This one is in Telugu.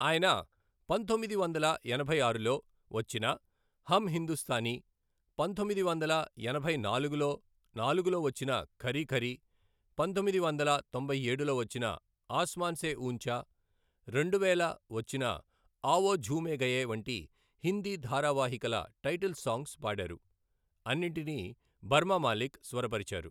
ఆయన, పంతొమ్మిది వందల ఎనభై ఆరులో వచ్చిన హమ్ హిందుస్తానీ, పంతొమ్మిది వందల ఎనభై నాలుగులో నాలుగులో వచ్చిన ఖరీ ఖరీ, పంతొమ్మిది వందల తొంభై ఏడులో వచ్చిన ఆస్మాన్ సే ఊంచా, రెండువేల వచ్చిన ఆవో ఝూమే గయే వంటి హిందీ ధారావాహికల టైటిల్ సాంగ్స్ పాడారు, అన్నింటినీ బర్మా మాలిక్ స్వరపరిచారు.